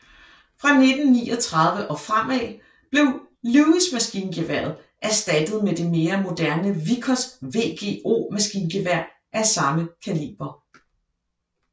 Fra 1939 og fremad blev Lewis maskingeværet erstattet med det mere moderne Vickers VGO maskingevær af samme kaliber